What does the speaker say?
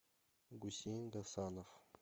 гусейн гасанов